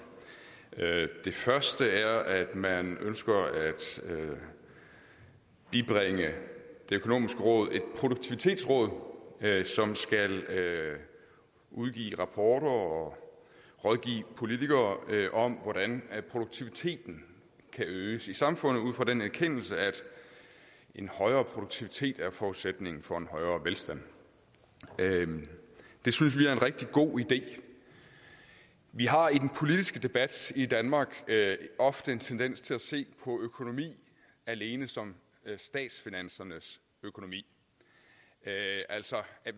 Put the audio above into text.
det første er at man ønsker at bibringe det økonomiske råd et produktivitetsråd som skal udgive rapporter og rådgive politikere om hvordan produktiviteten kan øges i samfundet ud fra den erkendelse at en højere produktivitet er forudsætningen for en højere velstand det synes vi er en rigtig god idé vi har i den politiske debat i danmark ofte en tendens til at se på økonomi alene som statsfinansernes økonomi altså